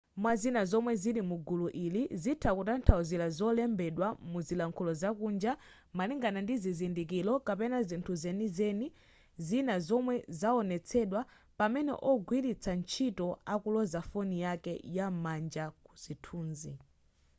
mwazina zomwe zili mugulu ili zitha kutanthauzira zolembedwa muzilankhulo zakunja malingana ndi zizindikiro kapena zinthu zenizeni zina zomwe zaonetsedwa pamene ogwiritsa ntchito akuloza foni yake yam'manja ku zinthuzi